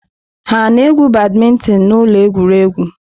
Ha na-egwu badmintin na ụlọ egwuregwu?